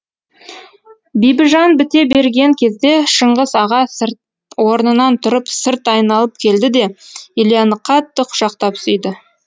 бибіжан біте берген кезде шыңғыс аға орнынан тұрып сырт айналып келді де ильяны қатты құшақтап сүйді